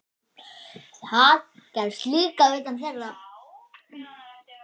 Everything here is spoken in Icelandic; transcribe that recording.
Það gerðist líka utan þeirra.